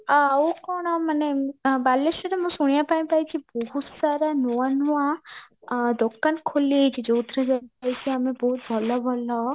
ଆଉ କଣ ମାନେ ବାଲେଶ୍ଵରରେ ମୁଁ ଶୁଣିବା ପାଇଁ ପାଇଚି ବହୁତ ସାରା ନୂଆ ନୂଆ ଦୋକାନ ଖୋଲିଛି ଯୋଉଥିରେ ଯାଇକି ଆମେ ଭଲ ଭଲ